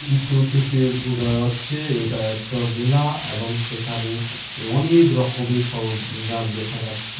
চিত্র থেকে বোঝা যাচ্ছে এটা একটা মেলা এবং সেখানে অনেক রকমের সর জাম দেখা যাচ্ছে ।